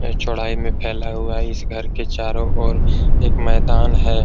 ये चौड़ाई में फैला हुआ है इस घर के चारों ओर एक मैदान है।